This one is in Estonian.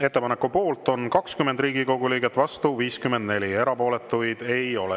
Ettepaneku poolt on 20 Riigikogu liiget, vastu 54 ja erapooletuid ei ole.